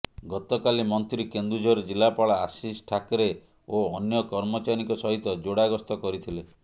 ଗତକାଲି ମନ୍ତ୍ରୀ କେନ୍ଦୁଝର ଜିଲ୍ଲାପାଳ ଆଶିଷ ଠାକରେ ଓ ଅନ୍ୟ କର୍ମଚାରୀଙ୍କ ସହିତ ଯୋଡ଼ା ଗସ୍ତ କରିଥିଲେ